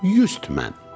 100 tümən.